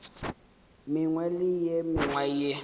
mengwe le ye mengwe ye